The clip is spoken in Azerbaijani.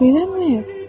Niyəmi?